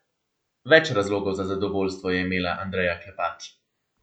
Več razlogov za zadovoljstvo je imela Andreja Klepač.